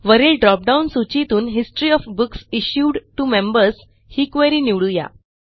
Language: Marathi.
वरील ड्रॉप डाउन सूचीतून history of books issued to members ही क्वेरी निवडू या